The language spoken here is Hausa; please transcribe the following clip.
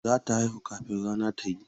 Za ta haihu kafin rana ta yi.